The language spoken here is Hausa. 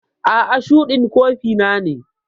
A'a, shuɗin kofi na ne.